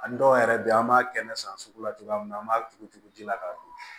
A dɔw yɛrɛ bɛ yen an b'a kɛnɛ san sugu la cogoya min na an b'a tugu-tugu-tugula k'a don